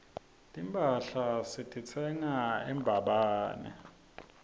timphahla sititsenga embabane